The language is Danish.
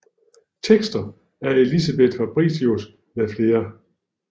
Tekster af Elisabeth Fabritius med flere